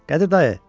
Qədir dayı!